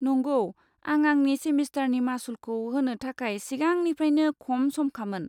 नंगौ, आं आंनि सेमिस्टारनि मासुलखौ होनो थाखाय सिगांनिफ्रायनो खम समखामोन।